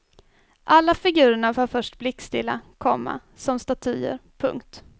Alla figurerna var först blickstilla, komma som statyer. punkt